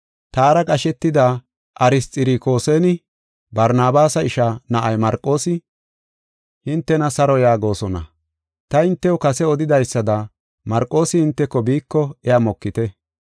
Taara qashetida Arisxirokoosinne Barnabaasa ishaa na7ay Marqoosi, hintena saro yaagosona. Ta hintew kase odidaysada Marqoosi hinteko biiko iya mokite.